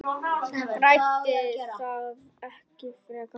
Ræddi það ekki frekar.